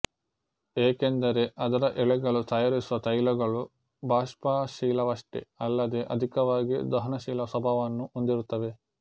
ಏಕೆಂದರೆ ಅದರ ಎಲೆಗಳು ತಯಾರಿಸುವ ತೈಲಗಳು ಬಾಷ್ಪಶೀಲವಷ್ಟೇ ಅಲ್ಲದೇ ಅಧಿಕವಾಗಿ ದಹನಶೀಲ ಸ್ವಭಾವವನ್ನು ಹೊಂದಿರುತ್ತವೆ